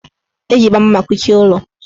Eji gbamgbam akuchi ụlọ.